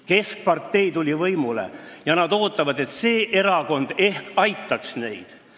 Keskerakond tuli võimule ja nad ootavad, et see erakond aitaks neid.